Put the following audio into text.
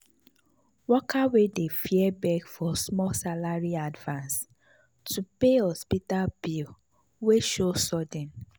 worker wey dey fear beg for small salary advance to pay hospital bill wey show sudden.